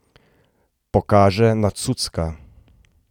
Pokaže na Cucka.